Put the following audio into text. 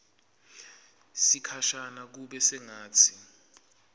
sikhashana kube sengatsi